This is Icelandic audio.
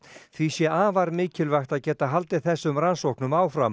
því sé afar mikilvægt að geta haldið þessum rannsóknum áfram